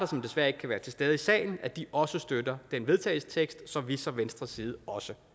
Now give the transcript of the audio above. som desværre ikke kan være til stede i salen sige at de også støtter den vedtagelsestekst som vi fra venstres side også